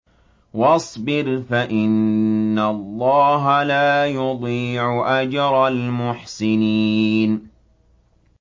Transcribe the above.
وَاصْبِرْ فَإِنَّ اللَّهَ لَا يُضِيعُ أَجْرَ الْمُحْسِنِينَ